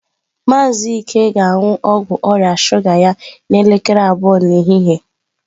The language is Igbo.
Maazị Ike ga-aṅụ ọgwụ ọrịa shuga ya n'elekere abụọ nke ehihie.